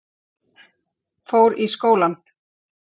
Fór í skólann.